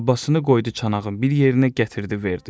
Abbasını qoydu çanağın bir yerinə gətirdi, verdi.